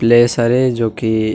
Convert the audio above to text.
place हरे जो की--